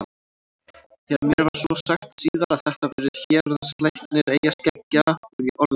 Þegar mér var svo sagt síðar að þetta væri héraðslæknir eyjaskeggja varð ég orðlaus.